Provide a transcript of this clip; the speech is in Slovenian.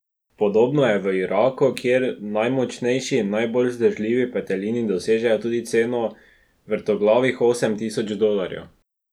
Podobno je v Iraku, kjer najmočnejši in najbolj vzdržljivi petelini dosežejo tudi ceno vrtoglavih osem tisoč dolarjev.